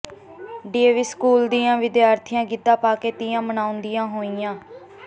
DAV school ਦੀਆਂ ਵਿਦਿਆਰਥਣਾਂ ਗਿੱਧਾ ਪਾ ਕੇ ਤੀਆਂ ਮਨਾਉਂਦੀਆਂ ਹੋਈਆਂ